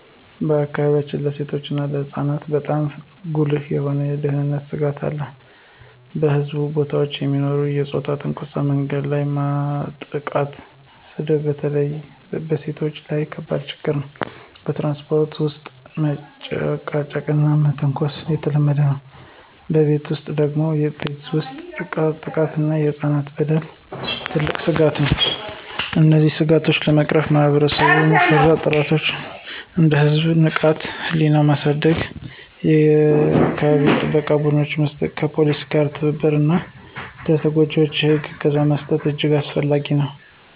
በአካባቢያችን ለሴቶችና ለህፃናት በጣም ጉልህ የሆኑ የደህንነት ስጋቶች አሉ። በሕዝብ ቦታዎች የሚኖሩ የፆታ ትንኮሳ፣ መንገድ ላይ ማጥቃትና ስድብ በተለይ በሴቶች ላይ ከባድ ችግኝ ናቸው። በትራንስፖርት ውስጥ መጨቃጨቅና መተንኮስ የተለመደ ነው። በቤት ውስጥ ደግሞ ቤተሰብ ውስጥ ጥቃት እና የህፃናት በደል ትልቅ ስጋት ነው። እነዚህን ስጋቶች ለመቅረፍ ማህበረሰብ-መራሽ ጥረቶች እንደ የህዝብ ንቃተ-ህሊና ማሳደግ፣ የአካባቢ ጥበቃ ቡድኖች መመስረት፣ ከፖሊስ ጋር ትብብር እና ለተጎጂዎች የህግ እገዛ መስጠት እጅግ አስፈላጊ ናቸው።